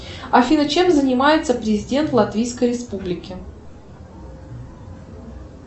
афина чем занимается президент латвийской республики